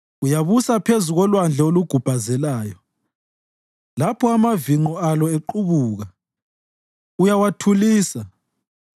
Uyabusa phezu kolwandle olugubhazelayo; lapho amavinqo alo equbuka, uyawathulisa.